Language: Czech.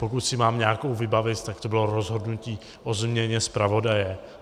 Pokud si mám nějakou vybavit, tak to bylo rozhodnutí o změně zpravodaje.